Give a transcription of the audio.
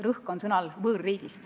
Rõhk on sõnal "võõrriik".